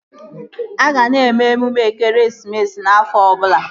A ga na-eme emume ekeresimesi afọ ọbụla